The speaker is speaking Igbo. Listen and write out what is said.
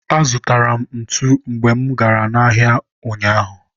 azụtara m ntu mgbe mụ gara ahịa ụnyaahụ.